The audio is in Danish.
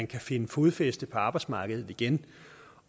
kan finde fodfæste på arbejdsmarkedet igen